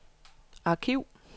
arkiv